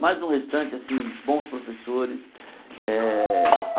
Mas no restante, assim bons professores. Eh